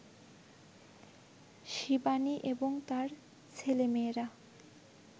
শিবানী এবং তাঁর ছেলেমেয়েরা